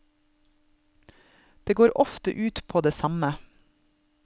Det går ofte ut på det samme.